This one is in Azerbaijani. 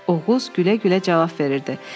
Oğuz gülə-gülə cavab verirdi.